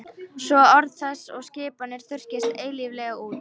Svo orð þess og skipanir þurrkist eilíflega út.